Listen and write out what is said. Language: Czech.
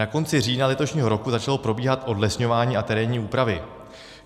Na konci října letošního roku začalo probíhat odlesňování a terénní úpravy.